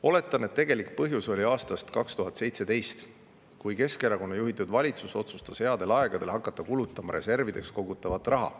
" Oletan, et tegelik põhjus oli pärit aastast 2017, kui Keskerakonna juhitud valitsus otsustas headel aegadel hakata kulutama reservidesse kogutud raha.